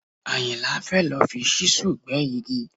Àyìnlá fẹ́ lọ fi ṣíṣù gbẹ́ igi